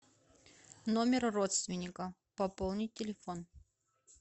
номер родственника пополнить телефон